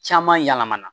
Caman yɛlɛmana